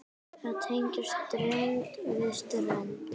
Að tengja strönd við strönd.